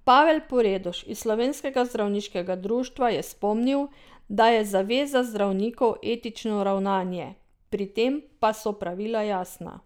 Pavel Poredoš iz Slovenskega zdravniškega društva je spomnil, da je zaveza zdravnikov etično ravnanje, pri tem pa so pravila jasna.